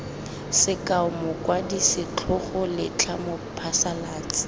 sekao mokwadi setlhogo letlha mophasalatsi